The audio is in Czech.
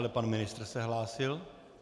Ale pan ministr se hlásil.